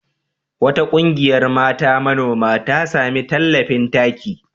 Wata ƙungiyar mata manoma ta sami tallafin taki.